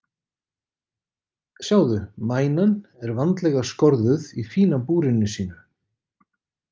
Sjáðu, mænan er vandlega skorðuð í fína búrinu sínu.